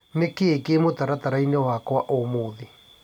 Nĩ kĩĩ kĩĩ mũtaratara-inĩ wakwa ũmũthĩ.?